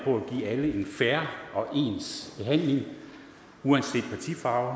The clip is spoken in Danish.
på at give alle en fair og ens behandling uanset partifarve